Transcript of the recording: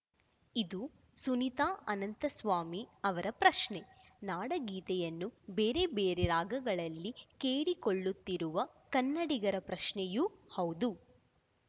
ಇದು ಸುನೀತಾ ಅನಂತಸ್ವಾಮಿ ಅವರ ಪ್ರಶ್ನೆ ನಾಡಗೀತೆಯನ್ನು ಬೇರೆ ಬೇರೆ ರಾಗಗಳಲ್ಲಿ ಕೇಳಿಸಿಕೊಳ್ಳುತ್ತಿರುವ ಕನ್ನಡಿಗರ ಪ್ರಶ್ನೆಯೂ ಹೌದು